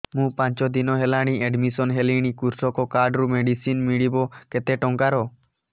ମୁ ପାଞ୍ଚ ଦିନ ହେଲାଣି ଆଡ୍ମିଶନ ହେଲିଣି କୃଷକ କାର୍ଡ ରୁ ମେଡିସିନ ମିଳିବ କେତେ ଟଙ୍କାର